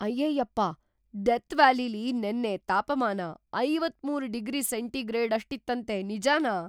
ಅಯ್ಯಯ್ಯಪ್ಪ! Death ವ್ಯಾಲಿಲಿ ನೆನ್ನೆ ತಾಪಮಾನ ೫೩ ಡಿಗ್ರಿ ಸೆಂಟಿಗ್ರೇಡಷ್ಟಿತ್ತಂತೆ, ನಿಜನಾ?!